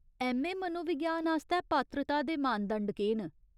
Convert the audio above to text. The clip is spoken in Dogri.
ऐम्म.ए. मनोविज्ञान आस्तै पात्रता दे मानदंड केह् न ?